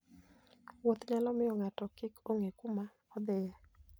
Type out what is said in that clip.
Wuoth nyalo miyo ng'ato kik ong'e kuma odhiye.